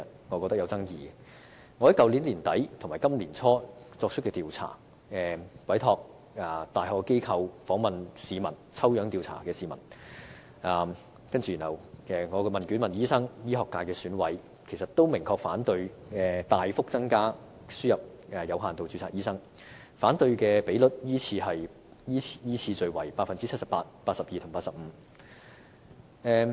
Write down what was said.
我在去年年底至今年年初曾委託大學機構進行調查，訪問了市民、醫生和醫學界選委，他們都明確反對大幅增加輸入有限度註冊醫生，反對率依次是 78%、82% 和 85%。